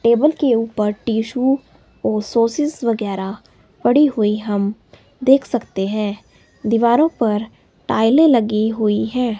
Table के ऊपर tissue और सॉसेस वगैरह पड़ी हुई हम देख सकते हैं दीवारों पर टाइलें लगी हुई हैं।